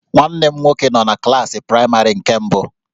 Nwanne m nwoke nọ na klaasị praịmarị nke mbụ